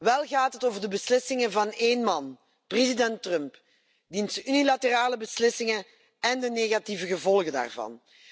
Wel gaat het over de beslissingen van één man, president Trump, diens unilaterale beslissingen en de negatieve gevolgen daarvan.